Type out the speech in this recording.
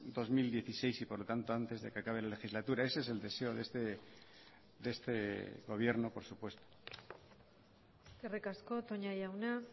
dos mil dieciséis y por lo tanto antes de que acabe la legislatura ese es el deseo de este gobierno por supuesto eskerrik asko toña jauna